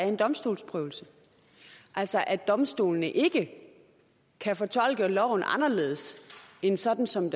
en domstolsprøvelse altså at domstolene ikke kan fortolke loven anderledes end sådan som